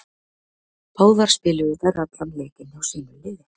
Báðar spiluðu þær allan leikinn hjá sínu liði.